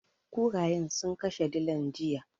Kurayen sun kashe dilan, jiya.